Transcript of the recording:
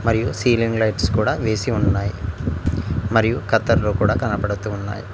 మరియు ceiling lights కూడా వేసి ఉన్నాయి మరియు కత్తర్లు కూడా కనబడుతూ ఉన్నాయి.